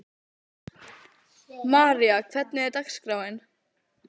María, hvernig er dagskráin?